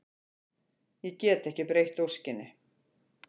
Ég get ekki breytt óskinni.